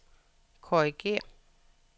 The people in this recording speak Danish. korrigér